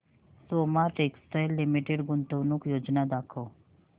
Soma textile limited गुंतवणूक योजना दाखव